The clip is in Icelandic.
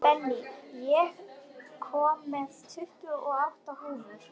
Benný, ég kom með tuttugu og átta húfur!